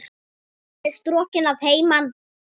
Hún er strokin að heiman.